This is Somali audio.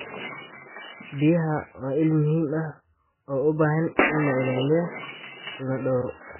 Biyaha waa il muhiim ah oo u baahan in la ilaaliyo lana dhowro.